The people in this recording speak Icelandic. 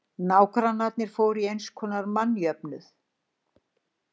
Nágrannar fóru í einskonar mannjöfnuð.